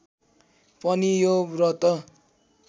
पनि यो व्रत